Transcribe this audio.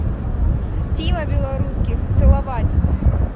тима белорусских целовать